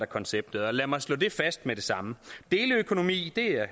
koncept og lad mig slå fast med det samme deleøkonomi er